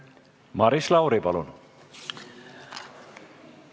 Maris Lauri, palun!